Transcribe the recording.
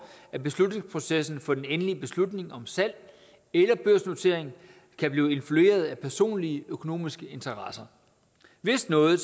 at beslutningsprocessen for den endelige beslutning om salg eller børsnotering kan blive influeret af personlige økonomiske interesser hvis noget